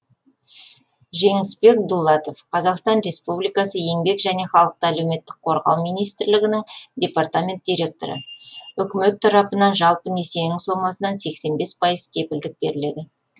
жеңісбек дулатов қазақстан республикасының еңбек және халықты әлеуметтік қорғау министрлігінің департамент директоры үкімет тарапынан жалпы несиенің сомасынан сексен бес пайыз кепілдік беріледі